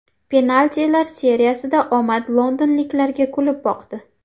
Penaltilar seriyasida omad londonliklarga kulib boqdi.